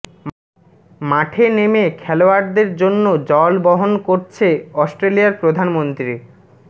মাঠে নেমে খেলোয়াড়দের জন্য জল বহন করছে অস্ট্রেলিয়ার প্রধানমন্ত্রী